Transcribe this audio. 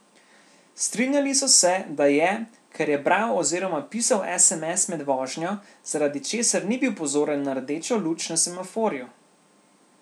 Strinjali so se, da je, ker je bral oziroma pisal sms med vožnjo, zaradi česar ni bil pozoren na rdečo luč na semaforju.